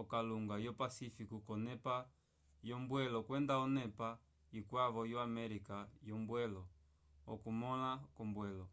okalunga yo pacífico k’onepa yombwelo kwenda onepa ikwavo yo américa yombwelo. okumõla k’ombwelo